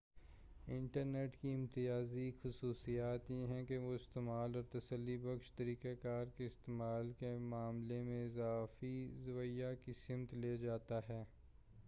internet کی امتیازی خصوصیات یہ ہیں کہ وہ استعمال اور تسلی بخش طریقہ کار کے استعمال کے معاملے میں اضافی زاویہ کی سمت لے جاتا ہے